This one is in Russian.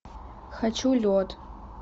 хочу лед